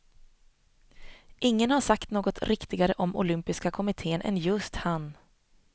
Ingen har sagt något riktigare om olympiska kommitten än just han.